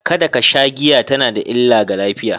Kada ka sha giya tana da illa ga lafiya.